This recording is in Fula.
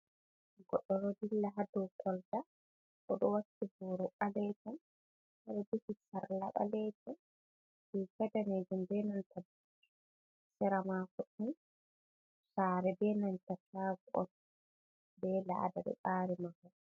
Godɗo ɗo dilla hadow kolta, oɗo wakki boro ɓaleejum, oɗon jogi sarla ɓaleejum, riga daneejum benanta sera mako ni saare benanta caago on bee laawol saare man.